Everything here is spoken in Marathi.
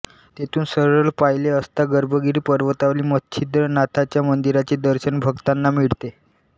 तेथून सरळ पाहिले असता गर्भगिरी पर्वतावरील मच्छिंद्र्नाथाच्या मंदिराचे दर्शन भक्तांना मिळते